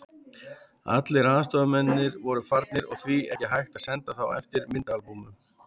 Allir aðstoðarmennirnir voru farnir og því ekki hægt að senda þá eftir myndaalbúmunum.